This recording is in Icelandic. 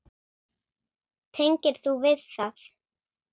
Tengir þú við það?